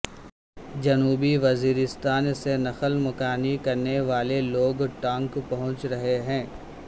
جنوبی وزیرستان سے نقل مکانی کرنے والےلوگ ٹانک پہنچ رہے ہیں